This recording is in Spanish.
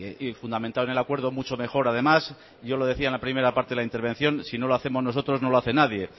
y fundamentado en el acuerdo mucho mejor además yo lo decía en la primera parte de la intervención si no lo hacemos nosotros no lo hace nadie